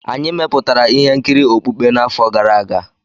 Anyị mepụtara ihe nkiri okpukpe n'afọ gara aga.